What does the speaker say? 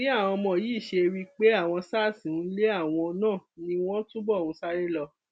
bí àwọn ọmọ yìí ṣe rí i pé àwọn sars ń lé àwọn náà ni wọn túbọ ń sáré lọ